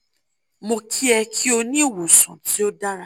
mo ki e ki o ni iwosan ti o dara